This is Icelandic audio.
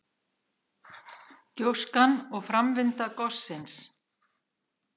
Gjóskan og framvinda gossins.